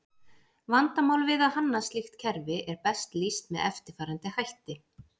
Vandamál við að hanna slíkt kerfi er best lýst með eftirfarandi hætti.